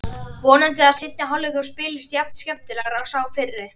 Vonandi að seinni hálfleikurinn spilist jafn skemmtilega og sá fyrri.